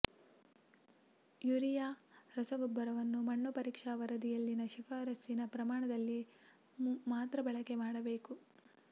urea ರಸಗೊಬ್ಬರವನ್ನು ಮಣ್ಣು ಪರೀಕ್ಷಾ ವರದಿಯಲ್ಲಿನ ಶಿಫಾರಸ್ಸಿನ ಪ್ರಮಾಣದಲ್ಲಿ ಮಾತ್ರ ಬಳಕೆ ಮಾಡಬೇಕು